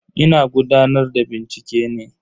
Ina gudanar da bincike ne.